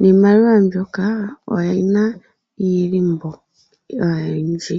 Niimaliwa mbyoka oyina iilimbo oyindji.